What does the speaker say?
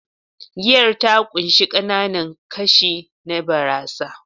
Giyar ta ƙunshi ƙananan kashi na barasa